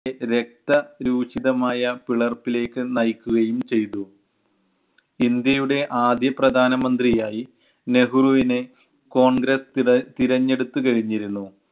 രക്ത രൂചിതമായ പിളർപ്പിലേക്ക് നയിക്കുകയും ചെയ്‌തു. ഇന്ത്യയുടെ ആദ്യ പ്രധാനമന്ത്രിയായി നെഹ്‌റുവിനെ കോൺഗ്രസ് തിര~ തിരഞ്ഞെടുത്തു കഴിഞ്ഞിരുന്നു.